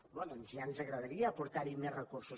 home doncs ja ens agradaria aportar hi més recursos